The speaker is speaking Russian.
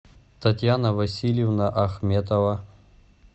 татьяна васильевна ахметова